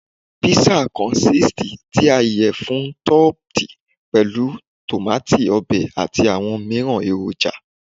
Pizza consisits ti a iyẹfun topped pẹlu tomati obe ati awọn miiran eroja